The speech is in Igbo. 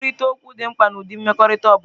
Nkwurịta okwu dị mkpa n'ụdị mmekọrịta ọ bụla.